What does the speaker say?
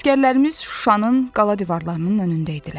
Əsgərlərimiz Şuşanın qala divarlarının önündə idilər.